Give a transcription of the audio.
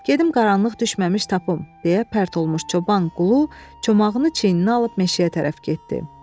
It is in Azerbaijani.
Gedim qaranlıq düşməmiş tapım, deyə pərt olmuş çoban Qulu çomağını çiyninə alıb meşəyə tərəf getdi.